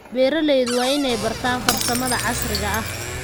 Beeralayda waa inay bartaan farsamada casriga ah.